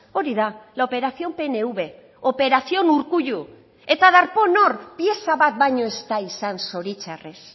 hori da la operación pnv operación urkullu eta darpón hor pieza bat baino ez da izan zoritxarrez